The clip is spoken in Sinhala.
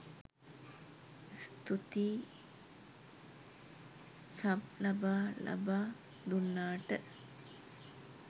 ස්තූතියි සබ් ලබා ලබා දුන්නට